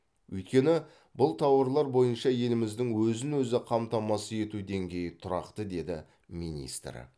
өйткені бұл тауарлар бойынша еліміздің өзін өзі қамтамасыз ету деңгейі тұрақты деді министр